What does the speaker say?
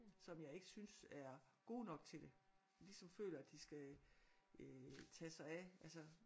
Som jeg ikke synes er gode nok til det. Ligesom føler at de skal øh tage sig af altså